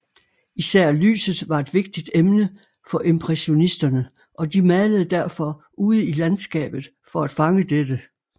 Især lyset var et vigtigt emne for impressionisterne og de malede derfor ude i landskabet for at fange dette